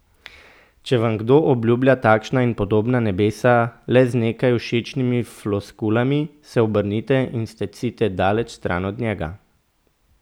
Če vam kdo obljublja takšna in podobna nebesa le z nekaj všečnimi floskulami, se obrnite in stecite daleč stran od njega!